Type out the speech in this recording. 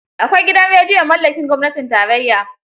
Akwai gidan rediyo mallakin gwamnatin tarayya.